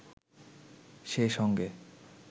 সে সঙ্গে